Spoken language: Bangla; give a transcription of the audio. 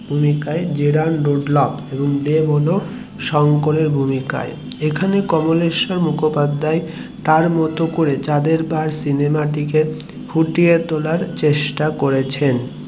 এর ভূমিকায় অভিনয়ে করেছেন জেরার্ড রুডলফ আর দেব হলো শঙ্করের ভূমিকায় এখানে কমলেশ্বর মুখোপাধ্যায় তার মতো করে চাঁদের পাহাড় সিনেমাটিকে ফুটিয়ে তোলার চেষ্টা করেছেন